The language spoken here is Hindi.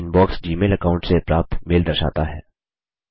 इनबॉक्स जीमेल अकाऊंट से प्राप्त मेल दर्शाता है